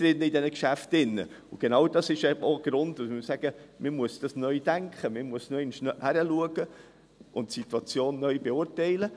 Das ist genau ein Grund, weshalb wir sagen, man muss das neu denken, man muss noch einmal hinschauen und die Situation neu beurteilen.